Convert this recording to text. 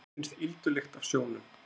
Mér finnst ýldulykt af sjónum.